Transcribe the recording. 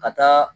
Ka taa